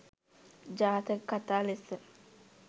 ජාතක කථා ලෙස